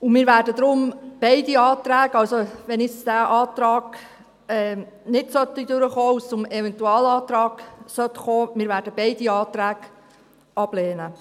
Deshalb werden wir beide Anträge – wenn also dieser Antrag jetzt nicht durchkommen und es zum Eventualantrag kommen sollte – ablehnen.